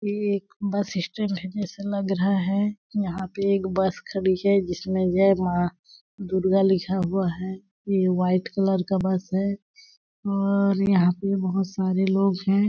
ये एक bus stand जेसा लग रहा है। यहाँ पे एक बस खड़ी है जिसमें जय माँ दुर्गा लिखा हुआ है। ये वाइट कलर का बस है। और यहाँ पे बहुत सारे लोग हैं।